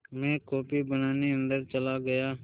मैं कॉफ़ी बनाने अन्दर चला गया